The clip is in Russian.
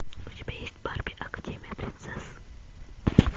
у тебя есть барби академия принцесс